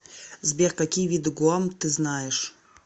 сбер какие виды гуам ты знаешь